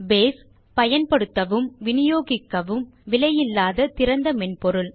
base பயன்படுத்தவும் வினியோகிக்கவும் விலையில்லா திறந்த மென்பொருள்